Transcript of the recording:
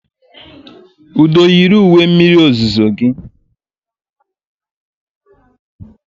Udo yiri uwe mmiri ozuzo gị.